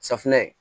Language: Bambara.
Safinɛ